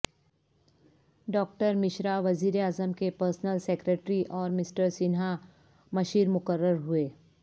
doctor Mishra وزیراعظم کے principal secretary اور مسٹر سنہا مشیرمقررہوئے